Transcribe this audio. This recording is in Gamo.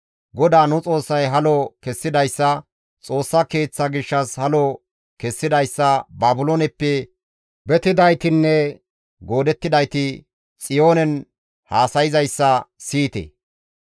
«GODAA nu Xoossay halo kessidayssa, Xoossa Keeththa gishshas halo kessidayssa Baabilooneppe betidaytinne goodettidayti Xiyoonen haasayzayssa siyite.